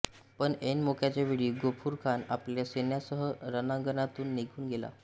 पण ऐन मोक्याच्या वेळी गफुरखान आपल्या सैन्यासह रणांगणातुन निघुन गेला